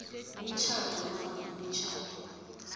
umtjhado nofana imitjhado